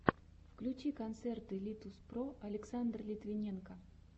включи концерты литуспро александр литвиненко